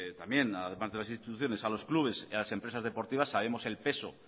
también además de las instituciones a los clubes a las empresas deportivas sabemos el peso